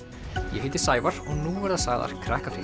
ég heiti Sævar og nú verða sagðar